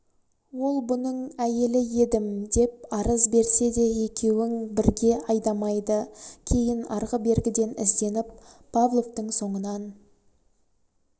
ол бұның әйелі едім деп арыз берсе де екеуің бірге айдамайды кейін арғы-бергіден ізденіп павловтың соңынан